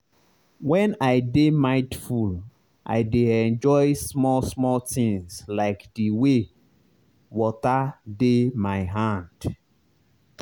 when i dey mindful i dey enjoy small small things like the way water dey my hand.